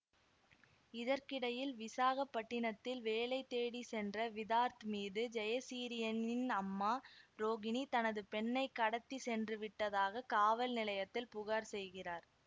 இதற்கிடையில் விசாகப்பட்டினத்தில் வேலை தேடி சென்ற விதார்த் மீது ஜெயசிறீயின் அம்மா ரோகிணி தனது பெண்ணை கடத்தி சென்றுவிட்டதாக காவல் நிலையத்தில் புகார் செய்கிறார்